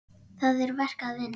Það er verk að vinna.